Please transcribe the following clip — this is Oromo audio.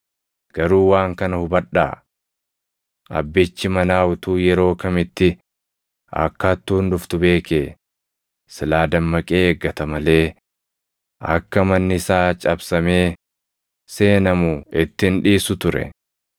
Garuu waan kana hubadhaa: Abbichi manaa utuu yeroo kamitti akka hattuun dhuftu beekee silaa dammaqee eeggata malee akka manni isaa cabsamee seenamu itti hin dhiisu ture.